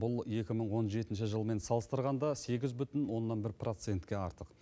бұл екі мың он жетінші жылмен салыстырғанда сегіз бүтін оннан бір процентке артық